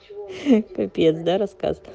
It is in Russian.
капец